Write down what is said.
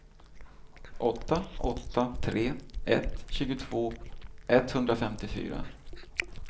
åtta åtta tre ett tjugotvå etthundrafemtiofyra